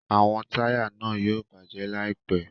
Awọn taya náà yóò bajẹ laipẹ